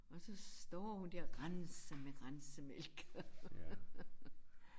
Og så står hun der og renser med rensemælk